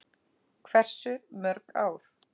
Hversu mörg ár?